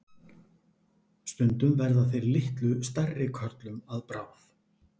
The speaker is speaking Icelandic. Stundum verða þeir litlu stærri körlum að bráð.